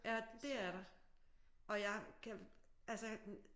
Ja det er der og jeg kan altså hm